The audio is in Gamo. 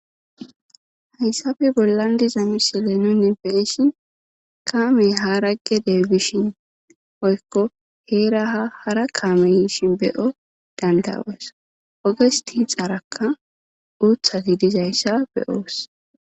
hayssafe bollan diza misile nune beishin kaamey haragge deebishin oykko heeraha hara kaame yiishin beyo dandawoos oges ti xaarakka uuthati dizayssa beyoos